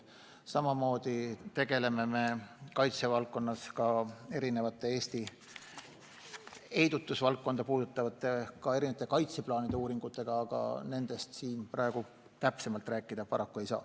Samamoodi tegeleme kaitsevaldkonnas ka Eesti heidutusvaldkonda puudutavate kaitseplaanide uuringutega, aga nendest siin täpsemalt rääkida paraku ei saa.